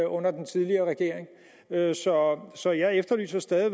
under den tidligere regering så så jeg efterlyser stadig